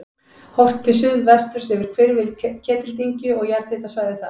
Horft til suðvesturs yfir hvirfil Ketildyngju og jarðhitasvæðið þar.